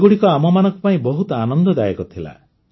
ଏଗୁଡ଼ିକ ଆମମାନଙ୍କ ପାଇଁ ବହୁତ ଆନନ୍ଦଦାୟକ ଥିଲା